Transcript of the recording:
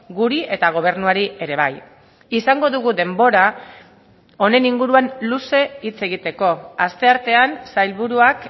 guri eta gobernuari ere bai izango dugu denbora honen inguruan luze hitz egiteko asteartean sailburuak